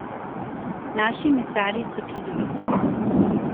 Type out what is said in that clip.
Naši mesarji so čudoviti.